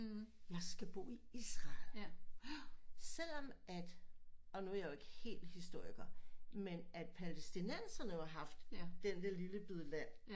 Jeg skal bo i Israel selvom at og nu er jeg jo ikke helt historiker men at palæstinenserne jo har haft den der lille bid land